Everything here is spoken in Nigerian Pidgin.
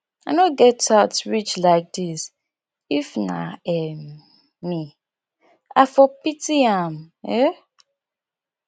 i no get heart reach like this if na um me i for pity am um